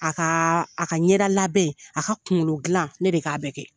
A ka a ka ɲɛda labɛn, a ka kunkolo glan, ne de b'a bɛɛ kɛ.